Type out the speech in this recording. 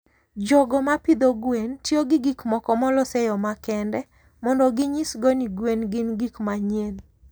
jogo ma pidho gwen tiyo gi gik moko molos e yo makende mondo ginyisgo ni gwen gin gik manyien.